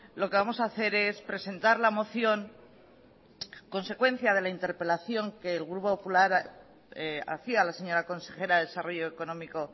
lo que vamos a hacer es presentar la moción consecuencia de la interpelación que el grupo popular hacía a la señora consejera de desarrollo económico